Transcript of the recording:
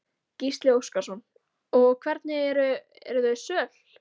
Gísli Óskarsson: Og hvernig eru, eru þau söl?